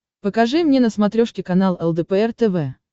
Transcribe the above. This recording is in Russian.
покажи мне на смотрешке канал лдпр тв